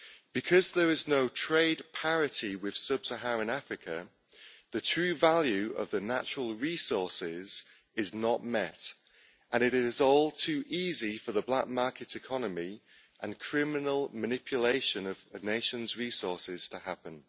Because there is no trade parity with sub Saharan Africa, the true value of the natural resources is not met, and it is all too easy for the black market economy and criminal manipulation of the nation's resources to happen.